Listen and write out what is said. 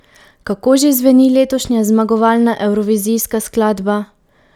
Kako že zveni letošnja zmagovalna evrovizijska skladba?